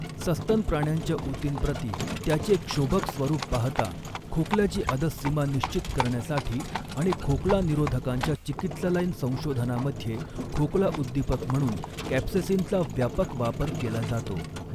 सस्तन प्राण्यांच्या ऊतींप्रति त्याचे क्षोभक स्वरूप पाहता, खोकल्याची अधःसीमा निश्चित करण्यासाठी, आणि खोकला निरोधकांच्या चिकीत्सालयीन संशोधनामध्ये, खोकला उद्दीपक म्हणून कॅप्सेसीनचा व्यापक वापर केला जातो